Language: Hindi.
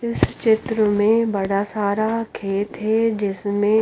इस चित्र में बड़ा सारा खेत है जिसमें--